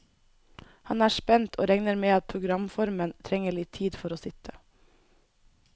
Han er spent, og regner med at programformen trenger litt tid for å sitte.